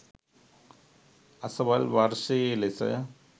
අසවල් වර්ෂයේ ලෙස